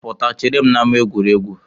Pụta chere m n'ama egwuregwu!